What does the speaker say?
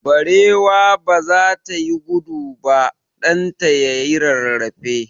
Barewa ba za ta yi gudu ba, ɗan ta ya yi rarrafe.